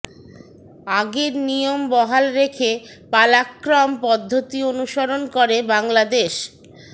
আগের নিয়ম বহাল রেখে পালাক্রম পদ্ধতি অনুসরণ করে বাংলাদেশ